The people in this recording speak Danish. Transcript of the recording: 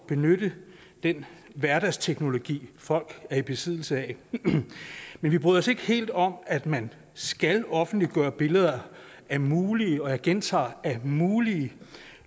benytte den hverdagsteknologi folk er i besiddelse af men vi bryder os ikke helt om at man skal offentliggøre billeder af mulige jeg gentager mulige